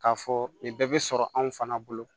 K'a fɔ nin bɛɛ bɛ sɔrɔ anw fana bolo